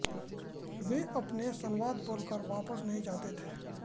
वे अपने संवाद बोलकर वापस नहीं जाते थे